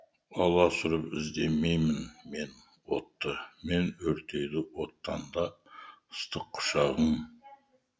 аласұрып іздемеймін мен отты мен өртейді оттан да ыстық құшағың